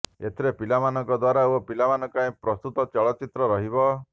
ଏଥିରେ ପିଲାମାନଙ୍କ ଦ୍ୱାରା ଓ ପିଲାମାନଙ୍କ ପାଇଁ ପ୍ରସ୍ତୁତ ଚଳଚ୍ଚିତ୍ର ରହିବ